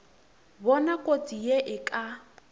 bona kotsi ye e ka